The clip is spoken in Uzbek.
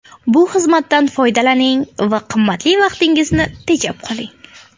Bu xizmatdan foydalaning va qimmatli vaqtingizni tejab qoling.